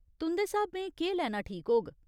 तुंदे स्हाबें केह् लैना ठीक होग ?